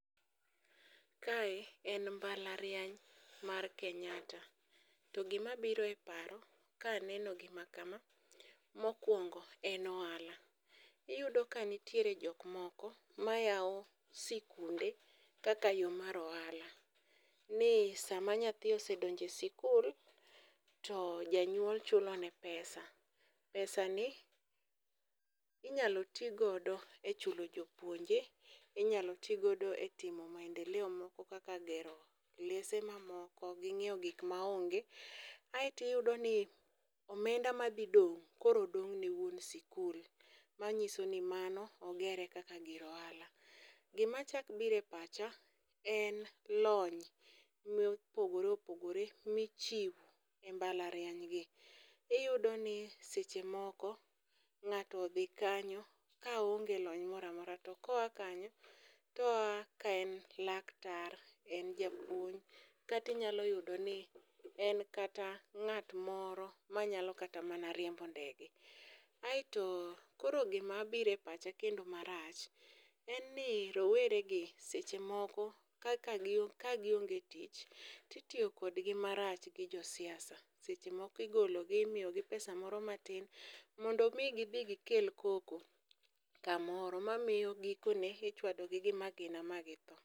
Kae en mbalariany mar kenyatta, to gima biro e paro ka aneno gima kama, mokwongo en ohala. Iyudo ka nitiere jok moko ma yao sikunde kaka yo mar ohala. Ni sama nyathi osedonje sikul, to janyuol chulo ne pesa. Pesa ni inyalo ti godo e chulo jopuonje, inyalo ti godo timo maendeleo moko kaka gero klese ma moko gi ng'iewo gik ma onge. Aeti yudo ni omenda ma dhi dong', koro dong' ne wuon sikul, manyiso ni mano ogere kaka gir ohala. Gima chak bire pacha en lony mopogore opogore michiwo e mbalariany gi, iyudo ni seche moko ng'ato odhi kanyo ka oonge lony moramora. To koa kanyo, toa kaen laktar, en japuony, katinyalo yudo ni en kata ng'at moro manyalo kata mana riembo ndege. Aeto koro gima bire pacha kendo marach, en ni rowere gi seche moko ka kagionge tich, titiyo kodgi marach gi josiasa. Seche moko igologi imiyogi pesa moro matin, mondo mi gidhi gikel koko kamoro, ma miyo gikone ichwadogi gi magina ma githo.